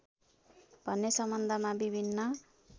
भन्ने सम्बन्धमा विभिन्न